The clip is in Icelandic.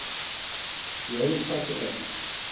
Í öðru sæti er